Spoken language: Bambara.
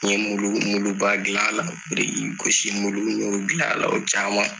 N ye muluba dilan a la birikigosimulu y'olu dilan a la o caman